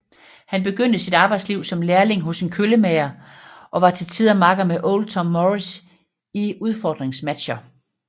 Han begyndte sit arbejdsliv som lærling hos en køllemager og var til tider makker med Old Tom Morris i udfordringsmatcher